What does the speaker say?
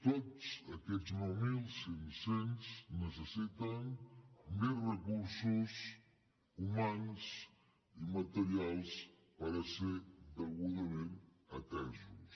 tots aquests nou mil cinc cents necessiten més recursos humans i materials per ser degudament atesos